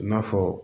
I n'a fɔ